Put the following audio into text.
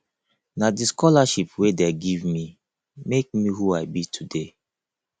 na the scholarship wey dey give me make me who i be today